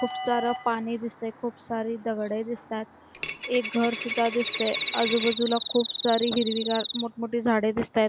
खुप सार पाणी दिसतय खुप सारी दगड दिसतात एक घर सुद्धा दिसतय आजूबाजूला खुप सारी मोठ मोठी हिरवी गार झाड दिसतआहेत |